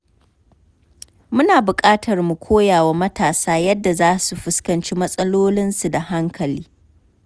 Muna buƙatar mu koya wa matasa yadda za su fuskanci matsalolinsu da hankali.